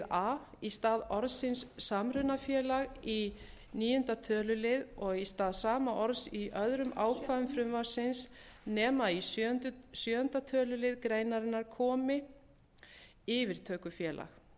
a í stað orðsins samrunafélag í níunda tölulið og í stað sama orðs í öðrum ákvæðum frumvarpsins nema í sjöunda tölulið greinarinnar komi yfirtökufélag hlýtur að auka verið